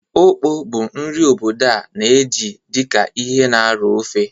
Okpor bụ nri obodo a na-eji dị ka ihe na-aro ofe.